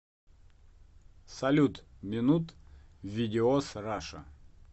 салют минут видеоз раша